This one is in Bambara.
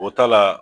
O ta la